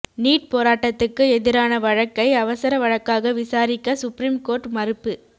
NEET போராட்டத்துக்கு எதிரான வழக்கை அவசர வழக்காக விசாரிக்க சுப்ரீம் கோர்ட் மறுப்பு